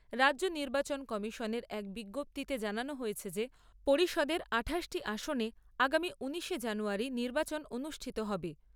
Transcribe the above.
রাজ্য নির্বাচন কমিশনের এক বিজ্ঞপ্তিতে জানানো হয়েছে যে পরিষদের আঠাশটি আসনে আগামী ঊনিশে জানুয়ারী নির্বাচন অনুষ্ঠিত হবে।